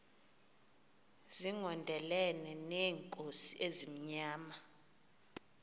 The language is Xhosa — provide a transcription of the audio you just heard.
zigondelene neenkosi ezimnyama